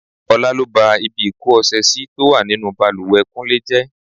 Ọlá lọ bá ibi ìko ọṣẹ sì tó wà nínú bàlùwẹ̀ kúnlé jẹ́.